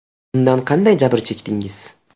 Undan qanday jabr chekdingiz?